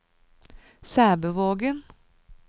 Sæbøvågen